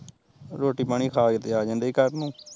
ਰੋਟੀ ਪਾਣੀ ਖਾ ਕੇ ਤੇ ਆ ਜਾਂਦੇ ਈ ਘਰ ਨੂ